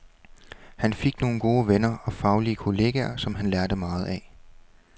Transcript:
Han fik nogle gode venner og faglige kolleger, som han lærte meget af.